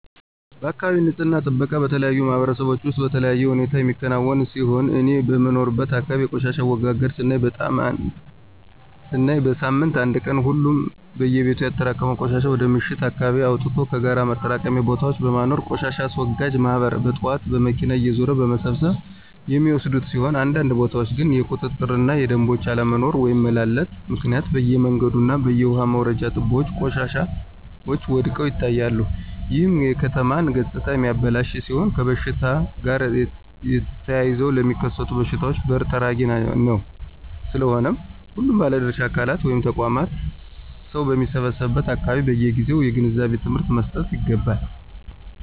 የአካባቢ ንፅህና ጥበቃ በተለያዩ ማህበረሰቦች ውስጥ በተለያዩ ሁኔታዎች የሚከናወን ሲሆን እኔ በምኖርበት አካባቢ የቆሻሻ አወጋገድ ስናይ በሳምንት አንድ ቀን ሁሉም በየቤቱ ያጠራቀመውን ቆሻሻ ወደ ምሽት አካባቢ አወጥቶ ከጋራ ማጠራቀሚያ ቦታዎች በማኖር ቆሻሻ አስወጋጅ ማህበራት በጥዋት በመኪና እየዞሩ በመሰብሰብ የሚወስዱት ሲሆን አንዳንድ ቦታዎች ግን የቁጥጥር እና የደምቦች አለመኖሮ (መላላት)ምክንያት በየመንገዱ እና በየውሃ መውረጃ ትቦዎች ቆሻሻዎች ወድቀው ይታያሉ ይህም የከተማ ገፅታ የሚያበላሽ ሲሆን ከሽታ ጋር ተያይዘው ለሚከሰቱ በሽታዎች በር ጠራጊ ነው። ስለሆነም ሁሉም ባለድርሻ አካላት (ተቋማት) ሰው በሚሰበሰቡበት አካባቢዎች በየጊዜው የግንዛቤ ትምህርት መሰጠት ይገባል።